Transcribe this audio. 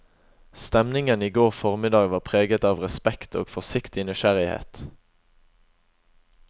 Stemningen i går formiddag var preget av respekt og forsiktig nysgjerrighet.